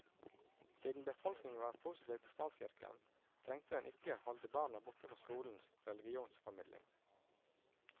Siden befolkningen var positiv til statskirken, trengte den ikke holde barna borte fra skolens religionformidling.